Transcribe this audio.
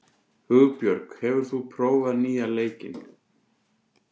Hugbjörg, hefur þú prófað nýja leikinn?